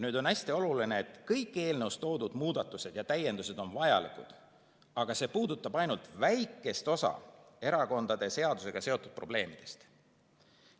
Nüüd on hästi oluline koht: kõik eelnõus toodud muudatused ja täiendused on vajalikud, aga see puudutab ainult väikest osa erakonnaseadusega seotud probleemidest.